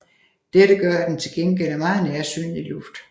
Dette gør at den til gengæld er meget nærsynet i luft